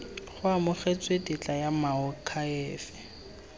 go amogetswe tetla ya moakhaefe